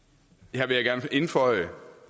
her vil jeg gerne indføje